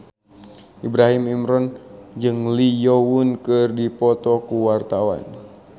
Ibrahim Imran jeung Lee Yo Won keur dipoto ku wartawan